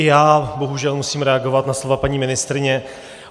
I já bohužel musím reagovat na slova paní ministryně.